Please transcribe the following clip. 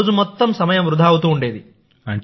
రోజు మొత్తం సమయం వృథా అవుతూ ఉండేది